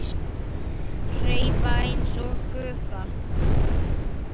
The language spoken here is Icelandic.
Hverfa einsog gufa.